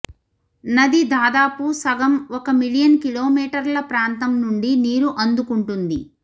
నది దాదాపు సగం ఒక మిలియన్ కిలోమీటర్ల ప్రాంతం నుండి నీరు అందుకుంటుంది